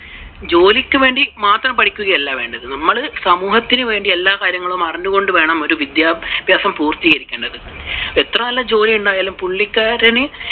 ജോലിക്കു വേണ്ടി മാത്രം പഠിക്കുക അല്ല വേണ്ടത്. നമ്മൾ സമൂഹത്തിനുവേണ്ടി എല്ലാ കാര്യങ്ങളും അറിഞ്ഞുകൊണ്ട് വേണം ഒരു വിദ്യാഭ്യാസം പൂർത്തീകരിക്കേണ്ടത്. എത്ര നല്ല ജോലി ഉണ്ടായാലും പുള്ളിക്കാരന്